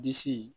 Disi